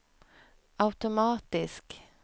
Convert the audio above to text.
automatisk